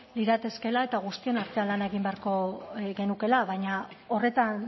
liratekeela eta guztion artean lan egin beharko genukeela baina horretan